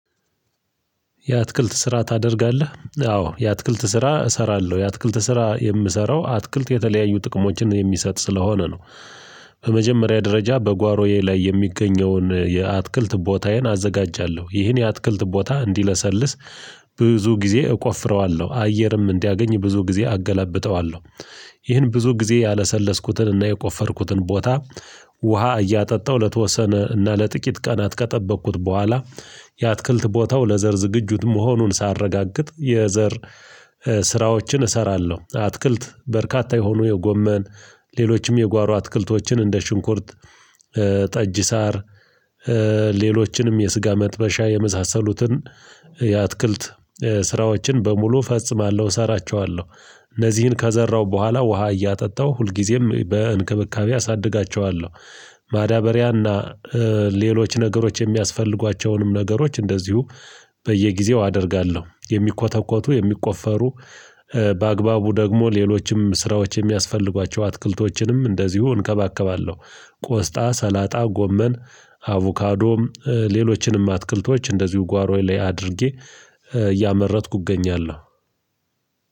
የአትክልት ስራ ታደርጋለህ? አዎ የአትክልት ስራ እሰራለሁ የአትክልት ስራ የምሰራው አትክልት የተለያዩ ጥቅሞችን የሚሰጥ ስለሆነ ነው፤ በመጀመሪያ ደረጃ በጓሮዬ ላይ የሚገኘውን የአትክልት ቦታዬን አዘጋጃለሁ ይህን የአትክልት ቦታ እንዲለሰልስ ብዙ ጊዜ እቆፍረዋለሁ አየርም እንዲያገኝ ብዙ ጊዜ አገላብጠዋለሁ፤ ይህን ብዙ ጊዜ ያለሰለስኩትን እና የቆፈርኩትን ቦታ ውሃ እያጠጣሁ ለተወሰነ እና ለጥቂት ቀናት ከጠበቅኩት በኋላ የአትክልት ቦታው ለዘር ዝግጁት መሆኑን ሳረጋግጥ የዘር ስራዎችን እሰራለሁ አትክልት በርካታ የሆኑ የጎመን ሌሎችም የጓሮ አትክልቶችን እንደ ሽንኩርት ጠጅ ሳር ሌሎችንም የስጋ መጥበሻ የመሳሰሉትን የአትክልት ስራዎችን በሙሉ እፈጽማለሁ፤ እሰራቸዋለሁ እነዚህን ከዘራሁ በኋላ ውሃ እያጠጣሁ ሁልጊዜም በእንክብካቤ አሳድጋቸዋለሁ፤ ማዳበሪያና ሌሎች ነገሮች የሚያስፈልጓቸውንም ነገሮች እንደዚሁ በየጊዜው አደርጋለሁ የሚኮተኮቱ የሚቆፈሩ በአግባቡ ደግሞ ሌሎችም ስራዎች የሚያስፈልጓቸው አትክልቶችንም እንደዚሁ እንከባከባለሁ ቆስጣ ሰላጣ ጎመን አቮካዶም ሌሎችንም አትክልቶች እንደዚሁ ጓሮዬ ላይ አድርጌ እያመረትሁ እገኛለሁ